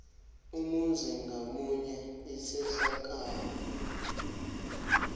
umzuzi ngamunye isehlakalo